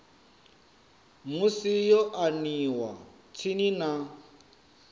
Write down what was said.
musi yo aniwa tsini na